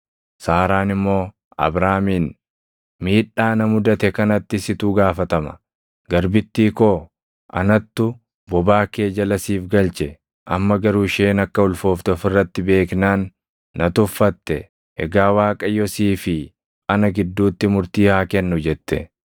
Saaraan immoo Abraamiin, “Miidhaa na mudate kanatti situ gaafatama. Garbittii koo anattu bobaa kee jala siif galche; amma garuu isheen akka ulfoofte of irratti beeknaan na tuffatte. Egaa Waaqayyo sii fi ana gidduutti murtii haa kennu” jette.